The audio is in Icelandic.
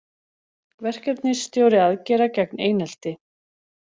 Verkefnisstjóri aðgerða gegn einelti